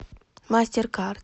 мастеркард